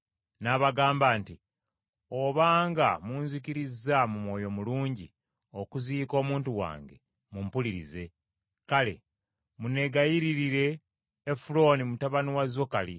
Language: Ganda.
N’abagamba nti, “Obanga munzikirizza mu mwoyo mulungi okuziika omuntu wange, mumpulirize. Kale munneegayiririre Efulooni mutabani wa Zokali,